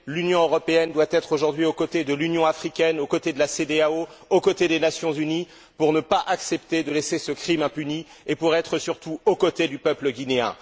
L'Union européenne doit être aujourd'hui aux côtés de l'Union africaine, aux côtés de la CDAO, aux côtés des Nations unies, pour ne pas accepter de laisser ce crime impuni et pour être surtout aux côtés du peuple guinéen.